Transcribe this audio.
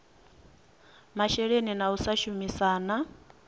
masheleni na u sa shumisana